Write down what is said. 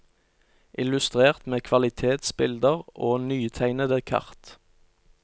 Illustrert med kvalitetsbilder og nytegnede kart.